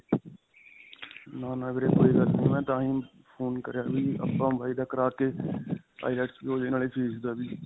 ਨਾਂ, ਨਾਂ ਵੀਰੇ ਕੋਈ ਗੱਲ ਨਹੀ. ਮੈਂ ਤਾਂਹੀ phone ਕਰਿਆ ਵੀ ਆਪਾਂ ਬਾਈ ਦਾ ਕਰਾ ਕੇ IELTS ਵੀ ਹੋਜੇ ਨਾਲੇ ਫੀਸ ਦਾ ਵੀ .